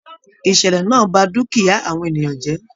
Ìṣẹlẹ náà bá dukia àwọn ènìyàn jẹ.